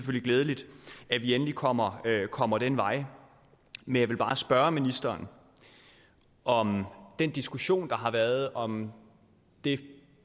glædeligt at vi endelig kommer kommer den vej men jeg vil bare spørge ministeren om den diskussion der har været om det